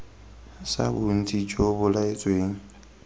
sa bontsi jo bo laetsweng